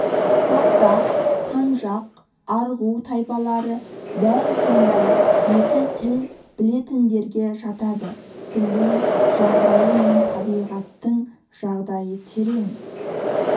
соғдақ қанжақ арғу тайпалары дәл сондай екі тіл білетіндерге жатады тілдің жағдайы мен табиғаттың жағдайы терең